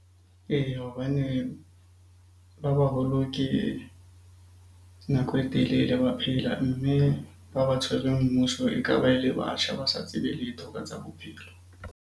Eya, hobane ba baholo ke nako e telele ba phela. Mme ba ba tshwereng mmuso e ka ba e le batjha ba sa tsebe letho ka tsa bophelo.